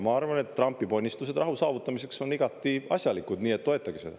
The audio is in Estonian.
Ma arvan, et Trumpi ponnistused rahu saavutamiseks on igati asjalikud, nii et toetage seda.